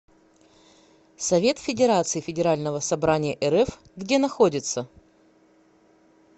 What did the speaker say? совет федерации федерального собрания рф где находится